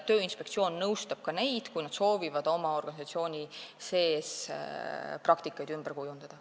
Tööinspektsioon nõustab ka neid, kui nad soovivad oma organisatsiooni sees praktikat ümber kujundada.